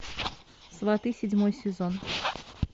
сваты седьмой сезон